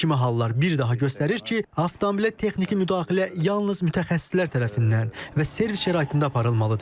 Bu kimi hallar bir daha göstərir ki, avtomobilə texniki müdaxilə yalnız mütəxəssislər tərəfindən və servis şəraitində aparılmalıdır.